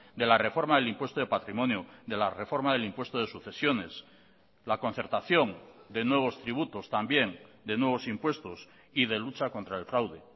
de la reforma del impuesto de patrimonio de la reforma del impuesto de sucesiones la concertación de nuevos tributos también de nuevos impuestos y de lucha contra el fraude